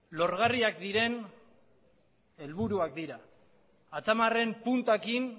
lorgarriak diren helburuak dira atzamarren puntarekin